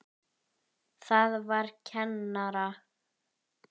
Það var kennara